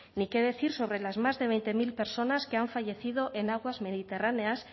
ni qué decir sobre las más de veinte mil personas que han fallecido en aguas mediterráneas